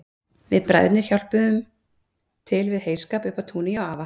Við bræðurnir hjálpuðum til við heyskap uppi á túni hjá afa